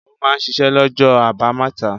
Ó máa ń ṣiṣẹ́ lọ́jọ́ àbámẹ́ta?